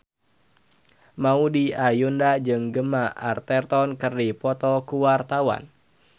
Maudy Ayunda jeung Gemma Arterton keur dipoto ku wartawan